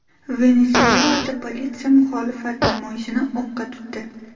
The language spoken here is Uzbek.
Venesuelada politsiya muxolifat namoyishini o‘qqa tutdi.